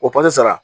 O kalo sara